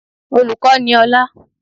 Olùkọ́ ni ọlá